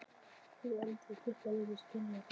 Hefur heldur aldrei þurft að reyna að skilja þá.